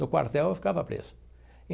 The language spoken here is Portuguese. No quartel ele ficava preso.